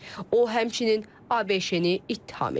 O, həmçinin ABŞ-ni ittiham edib.